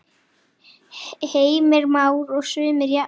Heimir Már: Og sumir jafnvel fengið atvinnutilboð eins og skot?